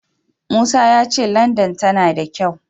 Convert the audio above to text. Musa ya ce Landan tana da kyau.